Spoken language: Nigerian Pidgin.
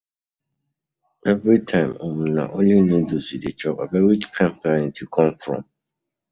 Everytime um na only noodles you dey chop, abeg which kin planet you come from?